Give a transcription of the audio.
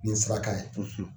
Nin saraka ye